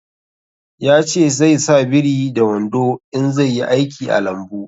Ya ce zai sa biri da wando in zai yi aiki a lambu